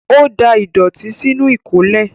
Ó da ìdọ̀tí sínú ìkólẹ̀.